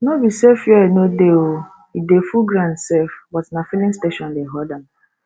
no be say fuel no dey oo e dey full ground sef but na filling station dey horde am